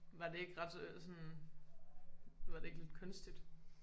Var det ikke ret øh sådan var det ikke ret kunstigt?